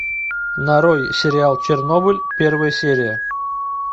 нарой сериал чернобыль первая серия